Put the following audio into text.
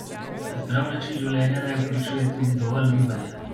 Zdrav način življenja naj vključuje tudi dovolj gibanja.